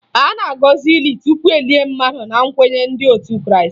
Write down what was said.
A na-agọzị ili tupu e lie mmadụ na nkwenye ndị otu Krịịstị